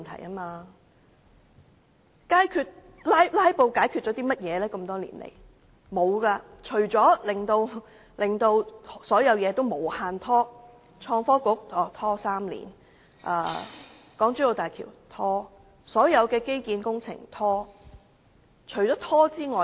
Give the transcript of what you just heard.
甚麼也沒有，只是令所有事情無限拖延，例如創新及科技局拖了3年才成立，而港珠澳大橋和所有基建工程都是一拖再拖。